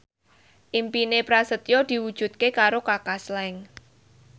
impine Prasetyo diwujudke karo Kaka Slank